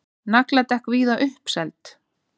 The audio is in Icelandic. Nagladekk víða uppseld